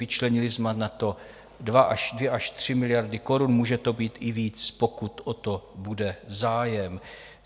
Vyčlenili jsme na to 2 až 3 miliardy korun, může to být i víc, pokud o to bude zájem.